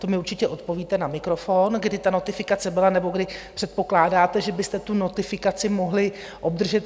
To mi určitě odpovíte na mikrofon, kdy ta notifikace byla nebo kdy předpokládáte, že byste tu notifikaci mohli obdržet?